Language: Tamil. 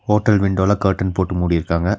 ஹோட்டல் விண்டோல கர்ட்டன் போட்டு மூடிருக்காங்க.